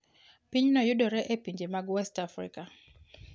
Pinyno yudore e pinje mag West Africa.